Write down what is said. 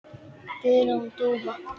Guðrún Dúfa.